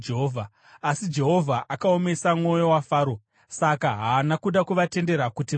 Asi Jehovha akaomesa mwoyo waFaro, saka haana kuda kuvatendera kuti vaende.